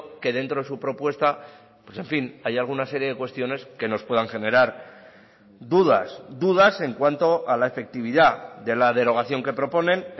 que dentro de su propuesta pues en fin haya alguna serie de cuestiones que nos puedan generar dudas dudas en cuanto a la efectividad de la derogación que proponen